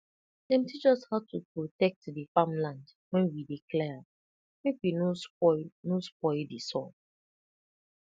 dem teach us how to protect the farmland when we dey clear am make we no spoil no spoil di soil